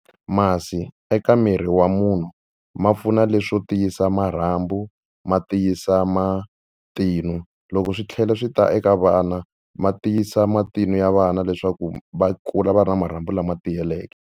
Masi eka miri wa munhu ma pfuna leswo tiyisa marhambu, ma tiyisa matinu. Loko swi tlhela swi ta eka vana ma tiyisa matinu ya vana leswaku va kula va ri na marhambu lama tiyeleke.